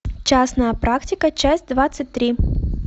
частная практика часть двадцать три